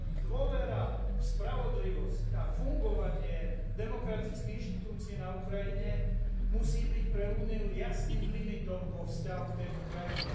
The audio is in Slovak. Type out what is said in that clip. Dôvera v spravodlivosť a fungovanie demokratických inštitúcií na Ukrajine musí byť pre Úniu jasným limitom vo vzťahu k tejto krajine.